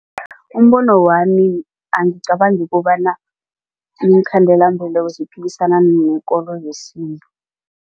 Umbono wami angicabangi kobana iinkhandelambeleko ziphikisana nekolo yesintu.